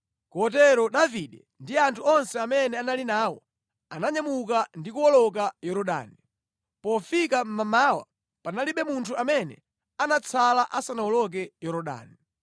Kotero Davide ndi anthu onse amene anali nawo ananyamuka ndi kuwoloka Yorodani. Pofika mmamawa, panalibe munthu amene anatsala asanawoloke Yorodani!